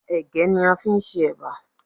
Ẹ̀gẹ́ ni a fi ń ṣe éba.